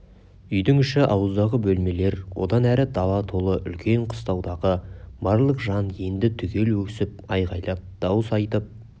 үйдің іші ауыздағы бөлмелер одан әрі дала толы үлкен қыстаудағы барлық жан енді түгел өксіп айғайлап дауыс айтып